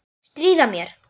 Stríða mér.